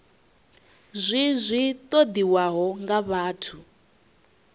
zwi zwi ṱoḓiwaho nga vhathu